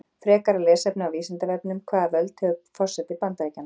Frekara lesefni á Vísindavefnum: Hvaða völd hefur forseti Bandaríkjanna?